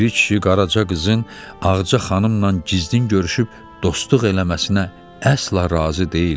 Piri kişi Qaraça qızın Ağca xanımla gizlin görüşüb dostluq eləməsinə əsla razı deyildi.